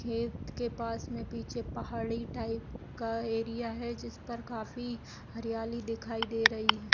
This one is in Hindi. खेत के पास पीछे एक पहाड़ी टाइप का एरिया है जिसे काफी हरियाली दिखाई दे रही है|